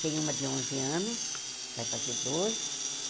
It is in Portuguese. Tem uma de onze anos, vai fazer doze.